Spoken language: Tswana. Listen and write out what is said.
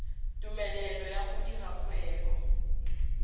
tumelelo ya go dira kgwebo